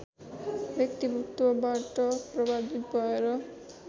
व्यक्तित्वबाट प्रभावित भएर